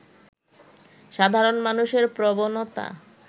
সাধারণ মানুষের প্রবণতা